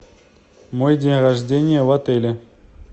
мой день рождения в отеле